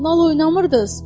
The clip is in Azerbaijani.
Nal oynamırdız?